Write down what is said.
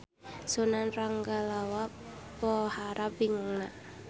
Sunan Ranggalawe pohara bingungna.